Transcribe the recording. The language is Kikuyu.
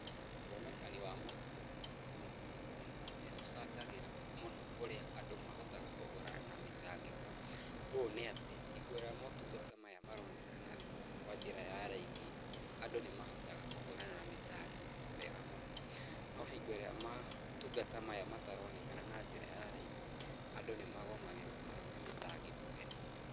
Wonekani wa maũtungata ma ũgima wa mwĩrĩ ni ũcangagĩra mũno ũrĩa andũ mahotaga kũhũrana na mĩtangĩko, ũũ nĩ atĩ hingo ĩrĩa maũtungata maronekana kwa njĩra ya raithi, andũ nĩ mahotaga kũhũrana na mĩtangĩko wega mũno, no hingo ĩrĩa matungata mataronekana na njĩra ya raithi, andũ nĩ magũmagĩrwo mũno nĩ mĩtangĩko ĩno.